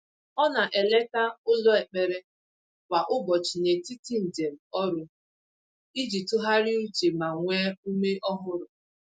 O na-eleta ụlọ ekpere kwa ụbọchị n’etiti njem ọrụ iji tụgharịa uche ma nwee ume ọhụrụ.